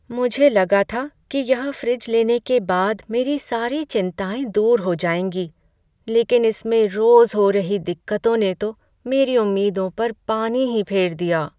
मुझे लगा था कि यह फ्रिज लेने के बाद मेरी सारी चिंताएं दूर हो जाएंगी, लेकिन इसमें रोज़ हो रही दिक्कतों ने तो मेरी उम्मीदों पर पानी ही फेर दिया।